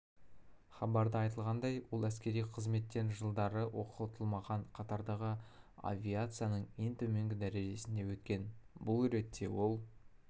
хабарда айтылғандай ол әскери қызметтен жылдары оқытылмаған қатардағы авиацияның ең төменгі дәрежесінде өткен бұл ретте ол